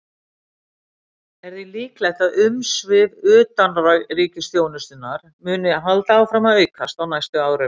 Er því líklegt að umsvif utanríkisþjónustunnar muni halda áfram að aukast á næstu árum.